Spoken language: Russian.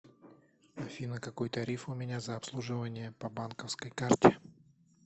афина какой тариф у меня за обслуживание по банковской карте